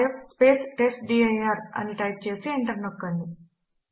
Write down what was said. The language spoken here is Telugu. ఆర్ఎం rf టెస్ట్డిర్ అని టైప్ చేసి ఎంటర్ నొక్కండి